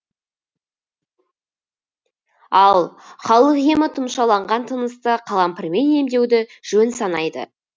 ал халық емі тұмшаланған тынысты қалампырмен емдеуді жөн санайды